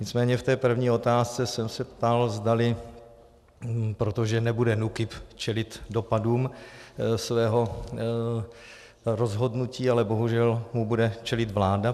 Nicméně v té první otázce jsem se ptal, zdali - protože nebude NÚKIB čelit dopadům svého rozhodnutí, ale bohužel mu bude čelit vláda.